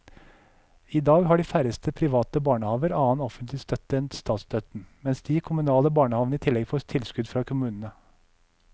I dag har de færreste private barnehaver annen offentlig støtte enn statsstøtten, mens de kommunale barnehavene i tillegg får tilskudd fra kommunene.